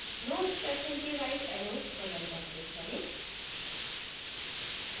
nodes section के right arrow button पर click करें